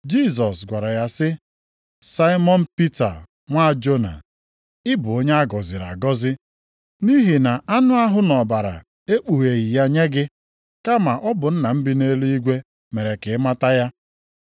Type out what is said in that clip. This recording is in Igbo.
Jisọs gwara ya sị, “Saimọn Pita nwa Jona, ị bụ onye a gọziri agọzi, nʼihi na anụ ahụ na ọbara ekpugheghị ya nye gị. Kama, ọ bụ Nna m bi nʼeluigwe mere ka ị mata ya.